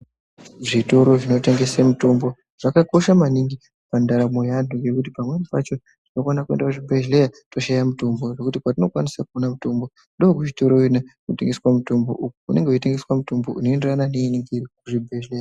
Zvitoro zvinotengese mitombo zvakakosha maningi pandarambo yeantu ngekuti pamweni pacho tinokona kuenda kuchibhedhleya toshaya mutombo. Zvokuti patinokwanisa kuone mitombo ndookuchitoro kuyana kuchitengeswe mutombo uko kunenge kuchitengeswa mutombo unoenderana neinenge iriyo kuzvibhedhlera.